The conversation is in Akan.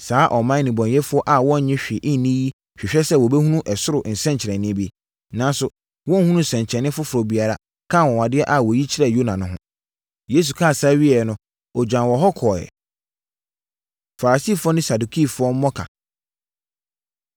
Saa ɔman nnebɔneyɛfoɔ a wɔnnye hwee nni yi hwehwɛ sɛ wɔbɛhunu ɛsoro nsɛnkyerɛnneɛ bi, nanso wɔrenhunu nsɛnkyerɛnneɛ foforɔ biara ka anwanwadeɛ a wɔyi kyerɛɛ Yona no ho.” Yesu kaa saa wieeɛ no, ɔgyaa wɔn hɔ kɔeɛ. Farisifoɔ Ne Sadukifoɔ Mmɔka